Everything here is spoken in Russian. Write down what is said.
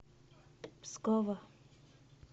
пскова